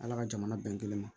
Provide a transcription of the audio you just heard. Ala ka jamana bɛn kelen ma